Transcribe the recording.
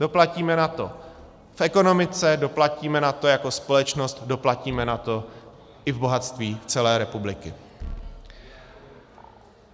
Doplatíme na to v ekonomice, doplatíme na to jako společnost, doplatíme na to i v bohatství celé republiky.